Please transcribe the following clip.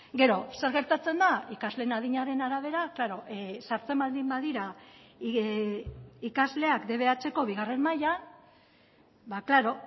gero zer gertatzen da ikasleen adinaren arabera klaro sartzen baldin badira ikasleak dbhko bigarren mailan ba klaro